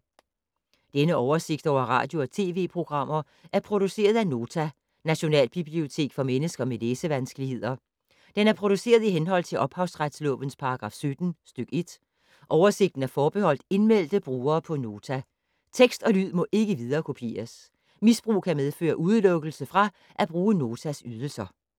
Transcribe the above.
Denne oversigt over radio og TV-programmer er produceret af Nota, Nationalbibliotek for mennesker med læsevanskeligheder. Den er produceret i henhold til ophavsretslovens paragraf 17 stk. 1. Oversigten er forbeholdt indmeldte brugere på Nota. Tekst og lyd må ikke viderekopieres. Misbrug kan medføre udelukkelse fra at bruge Notas ydelser.